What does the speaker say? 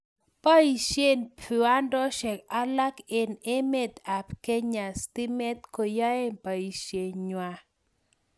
Boishe viwandoshek alak eng' emet ab Kenya stimet koyai boishe ng'wai